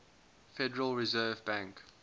federal reserve bank